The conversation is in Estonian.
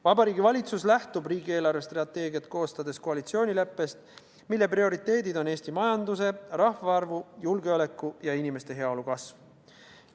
Vabariigi Valitsus lähtub riigi eelarvestrateegiat koostades koalitsioonileppest, mille prioriteedid on Eesti majanduse, rahvaarvu, julgeoleku ja inimeste heaolu kasv.